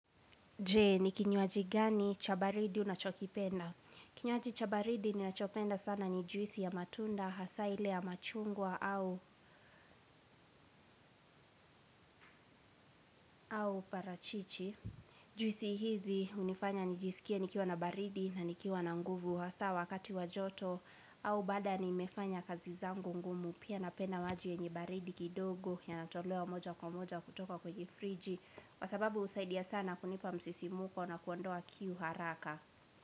Je, ni kinywaji gani chabaridi unachokipenda? Kinywaji chabaridi ninachopenda sana ni juisi ya matunda, hasa ile ya machungwa au parachichi. Juisi hizi hunifanya nijisikie nikiwa na baridi na nikiwa na nguvu. Wasaa wakati wajoto au baada ni mefanya kazi zangu ngumu. Pia napenda waji yenye baridi kidogo ya natolewa moja kwa moja kutoka kwenye friji. Kwasababu usaidia sana kunipa msisimuko na kuondoa kiu haraka.